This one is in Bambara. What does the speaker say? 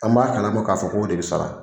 An b'a kalama k'a fɔ k'o de sara